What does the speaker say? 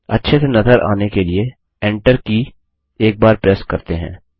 अच्छे से नज़र आने के लिए एन्टर की एक बार प्रेस करते हैं